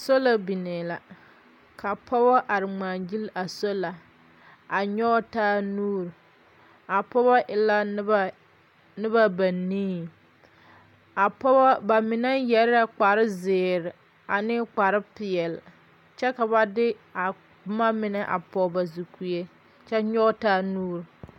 Sola biŋee la, ka pͻgebͻ are ŋmaa gyili a soola a nyͻge taa nuuri. A pͻgebͻ e la noba noba ba nii. A pͻgebͻ, ba mine yԑre la kpare zeere ane kpare peԑle, kyԑ ka ba de a boma mine a pͻge ba zukue kyԑ nyͻge taa nuuri.